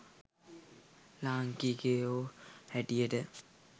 ලාංකිකයො හැටියට.